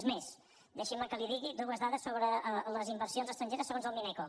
és més deixi’m que li digui dues dades sobre les inversions estrangeres segons el mineco